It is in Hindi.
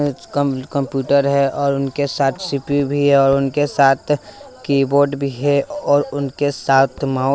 कंप्यूटर है और उनके साथ सी_पी_यू भी है और उनके साथ कीबोर्ड भी है और उनके साथ माउ--